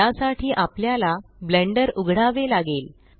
या साठी आपल्याला ब्लेण्डर उघडावे लागेल